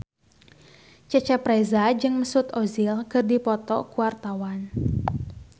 Cecep Reza jeung Mesut Ozil keur dipoto ku wartawan